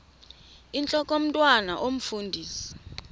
intlok omntwan omfundisi